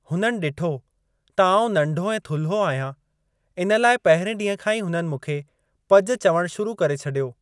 हुननि डि॒ठो त आऊं नंढो ऐं थुल्हो आहियां , इन लइ पहिरें ॾींहुं खां ई हुननि मूंखे 'पज' चवणु शुरू करे छडि॒यो।